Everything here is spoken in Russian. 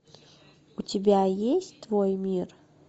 у тебя есть твой мир